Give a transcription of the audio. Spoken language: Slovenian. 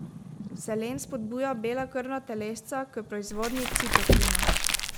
Selen spodbuja bela krvna telesca k proizvodnji citokina.